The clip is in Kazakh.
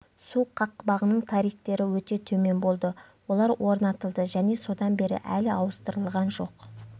су қақпағының тарифтері өте төмен болды олар орнатылды және содан бері әлі ауыстырылған жоқ